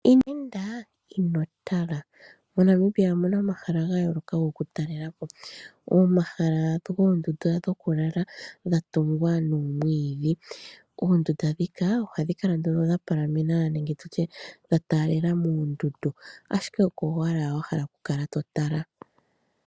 Ino enda ino tala ! Monamibia omuna omahala ogendji goku talelapo. Omahala mpoka oondunda dhokulala dhatungwa nomwiidhi ,Oondundu ndhika ohadhi kala nduno dha palamena nenge dha taalela moondundu ashike oko owala wahala okutala.